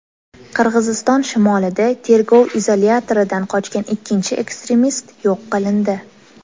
Qirg‘iziston shimolida tergov izolyatoridan qochgan ikkinchi ekstremist yo‘q qilindi.